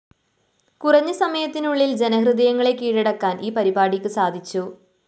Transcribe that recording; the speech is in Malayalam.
കുറഞ്ഞ സമയത്തിനുള്ളില്‍ ജനഹൃദയങ്ങളെ കീഴടക്കാന്‍ ഈ പരിപാടിക്കു സാധിച്ചു